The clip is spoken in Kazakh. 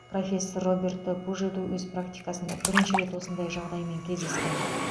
профессор роберто пужеду өз практикасында бірінші рет осындай жағдаймен кездескен